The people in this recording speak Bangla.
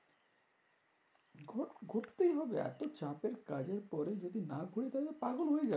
ঘুরতেই হবে, এত চাপের কাজের পরে যদি না ঘুরি তাহলে পাগল হয়ে যাবো।